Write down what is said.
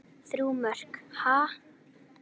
Þrjú mörk, ha?